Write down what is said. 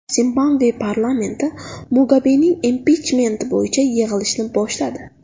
Zimbabve parlamenti Mugabening impichmenti bo‘yicha yig‘ilishni boshladi.